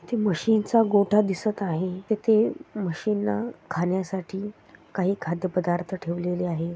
तिथे म्हशींचा गोठा दिसत आहे तिथे म्हशींना खाण्या साठी काही खाद्य पदार्थ ठेवलेले आहे.